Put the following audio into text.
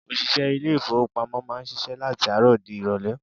Òṣìṣẹ́ ilé-ifowopamo máa ń ṣíṣe láti àárọ̀ di irole.